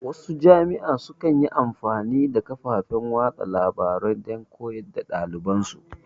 Wasu jami'an su kan yi amfani da kafofin watsa labarai don koyar da ɗaliban su